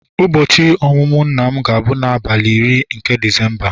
ụbọchị ọmụmụ nna m ga-abụ n'abalị iri nke Disemba